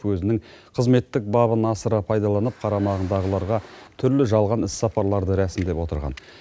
өзінің қызметтік бабын асыра пайдаланып қарамағындағыларға түрлі жалған іс сапарларды рәсімдеп отырған